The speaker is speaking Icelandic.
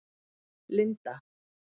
Linda